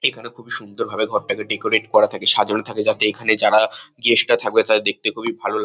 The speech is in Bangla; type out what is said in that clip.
এখানে খুবই সুন্দরভাবে ঘরটাকে ডেকোরেট করা থাকে সাজানো থাকে যাতে এখানে যারা গেস্ট -রা থাকবে তাদের দেখতে খুবই ভালো লাগে।